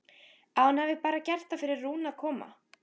Að hún hafi bara gert það fyrir Rúnu að koma.